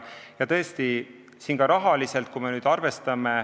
See on oluline ka rahaliselt.